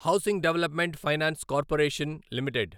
housing Development Finance Corporation limited